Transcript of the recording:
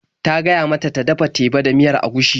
Ta gaya mata ta dafa teba da miyar agushi.